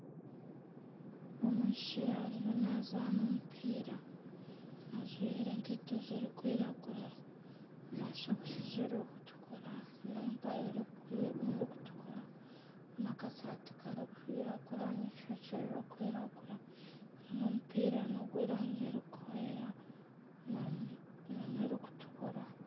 Omwishiki ariyo naazana omupiira, ajwire enkaito zirikwiragura na sokusi zirikutukura n'empare erikutukura na akasaati karikwiragura n'eishokye rirkwiragura n'omupira n'ogw'erangi erikwera nana erikutukura